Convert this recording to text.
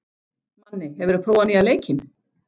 Manni, hefur þú prófað nýja leikinn?